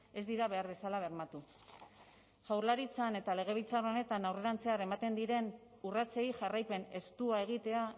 ez dira behar bezala bermatu jaurlaritzan eta legebiltzar honetan aurrerantzean ematen diren urratsei jarraipen estua egitea